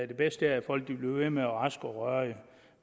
det bedste er at folk bliver ved med raske og rørige